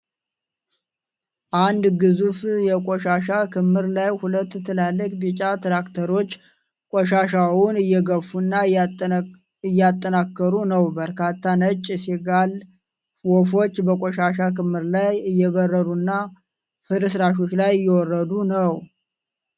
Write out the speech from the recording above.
አንድ ግዙፍ የቆሻሻ ክምር ላይ ሁለት ትላልቅ ቢጫ ትራክተሮች ቆሻሻውን እየገፉና እያጠናክሩ ነው። በርካታ ነጭ ሲጋል ወፎች በቆሻሻ ክምር ላይ እየበረሩና ፍርስራሾቹ ላይ እወርዱ ነው።